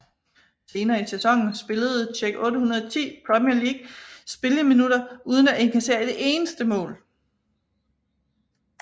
Senere i sæsonen spillede Čech 810 Premier League spilleminutter uden at indkassere et eneste mål